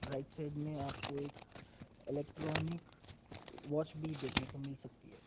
Right side मे आप को एक इलेक्ट्रानिक वाच भी देखने को मिल सकती है।